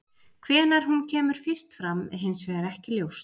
Hvenær hún kemur fyrst fram er hins vegar ekki ljóst.